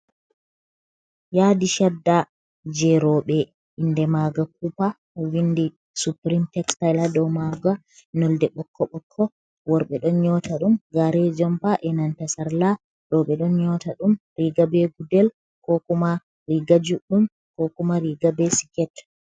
Yadi shada je robe inde maga kupa do windi suprim textila do maga nolde bokko bokko worbe don nyota dum gare jompa e nanta sarla robe don nyota dum riga be gudel ko kuma riga juɗɗum ko kuma riga be siket.